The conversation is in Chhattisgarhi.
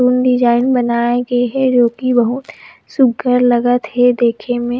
फूल डिज़ाइन बनाये गे हे जो कि बहुत सुग्घर लगत हे देखे में--